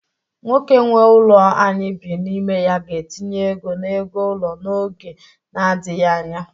Nwoke nwe ụlọ anyị bi n'ime ya ga-etinye ego n'ego ụlọ n'oge nadịghị anya.